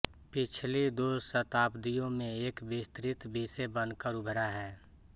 पिछली दो शताब्दियों में एक विस्तृत विषय बनकर उभरा है